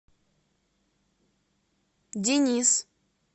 денис